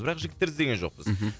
бірақ жігіттерді іздеген жоқпыз мхм